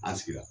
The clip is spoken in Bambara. An sigira